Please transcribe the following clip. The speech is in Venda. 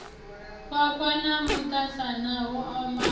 khwakhwa na vhuṱasana ho omaho